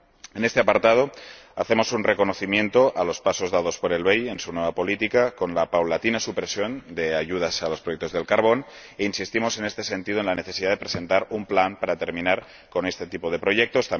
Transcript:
En este apartado hacemos un reconocimiento a los pasos dados por el BEI en su nueva política, con la paulatina supresión de ayudas a los proyectos del carbón, e insistimos en este sentido en la necesidad de presentar un plan para terminar con este tipo de proyectos.